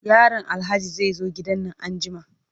Yaron Alhaji zai zo gidan nan anjima.